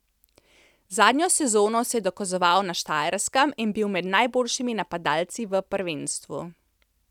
Zadnjo sezono se je dokazoval na Štajerskem in bil med najboljšimi napadalci v prvenstvu.